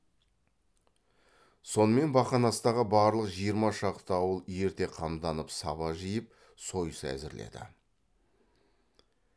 сонымен бақанастағы барлық жиырма шақты ауыл ерте қамданып саба жиып сойыс әзірледі